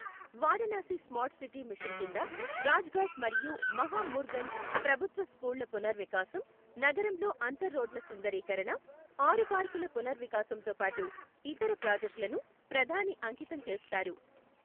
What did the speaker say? Varanasi smart city mission కింద రాజఘాట్ మరియు మహామూర్గంజ్ ప్రభుత్వ స్కూళ్ల పునర్వికాసం, నగరంలో అంతర్ రోడ్ల సుందరీకరణ, ఆరు పార్కుల పునర్వికాసంతో పాటు ఇతర ప్రాజెక్టులను ప్రధాని అంకితం చేస్తారు.